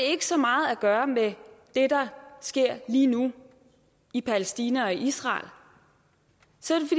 ikke så meget at gøre med det der sker lige nu i palæstina og israel så